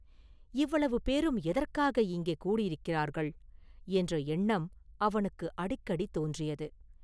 “இவ்வளவு பேரும் எதற்காக இங்கே கூடியிருக்கிறார்கள்?” என்ற எண்ணம் அவனுக்கு அடிக்கடி தோன்றியது.